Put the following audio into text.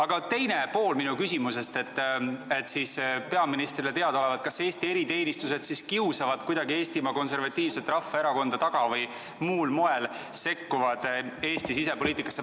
Ma tahan küsida, kas peaministrile teadaolevalt Eesti eriteenistused kiusavad kuidagi Eestimaa Konservatiivset Rahvaerakonda taga või muul moel sekkuvad Eesti sisepoliitikasse.